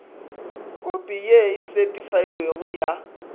khopi ye e setheifailwego ya